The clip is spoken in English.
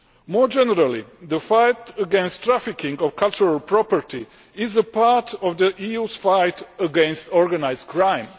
More generally, the fight against the trafficking of cultural property is a part of the EU's fight against organised crime.